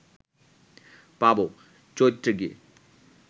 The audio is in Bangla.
পাব, চৈত্রে গিয়ে